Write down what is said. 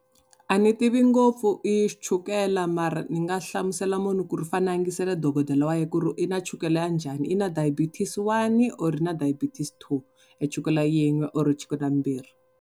A ni tivi ngopfu hi chukele mara ni nga hlamusela munhu ku ri i fanele a yingisela dokodela wa yena ku ri i na chukele ya njhani i na diabetes one or i na diabetes two, chukele yin'we kumbe chukela mbirhi.